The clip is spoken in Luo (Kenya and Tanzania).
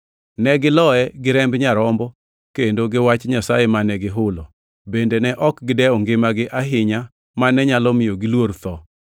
Ne giloye gi remb Nyarombo, kendo gi Wach Nyasaye mane gihulo, bende ne ok gidew ngimagi ahinya mane nyalo miyo giluor tho.